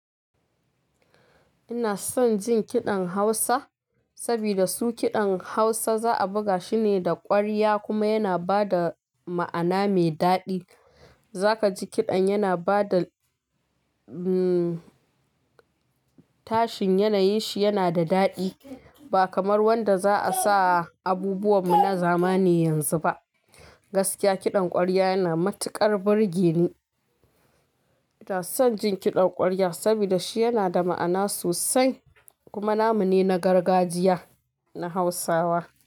Ina son jin kiɗan Hausa saboda su kiɗan Hausa za a buga shi ne da ƙwarya kuma yana ba da ma'ana mai daɗi. Zaka ji kiɗan yana ba da tashin yanayin shi yana da daɗi ba kamar wanda za a sa abubuwanmu na zamani yanzu ba. Gaskiya kiɗan ƙwarya yana matuƙar burge ni. Ina son jin kiɗan ƙwarya saboda shi yana da ma'ana sosai kuma namu ne na gargajiya na Hausawa.